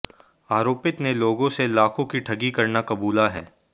आरोपित ने लोगों से लाखों की ठगी करना कबूला है